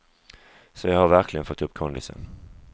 Så jag har verkligen fått upp kondisen.